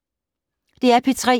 DR P3